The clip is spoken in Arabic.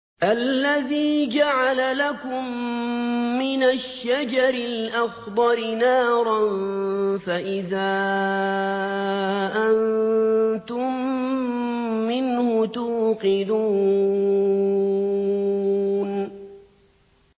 الَّذِي جَعَلَ لَكُم مِّنَ الشَّجَرِ الْأَخْضَرِ نَارًا فَإِذَا أَنتُم مِّنْهُ تُوقِدُونَ